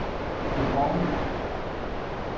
Dubrovnik